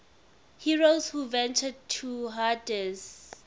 heroes who ventured to hades